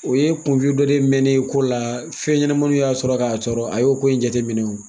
O ye kunfi dɔnen mɛnnen ye ko la fɛnɲɛnamaniw y'a sɔrɔ k'a tɔɔrɔ, a y'o ko in jateminɛ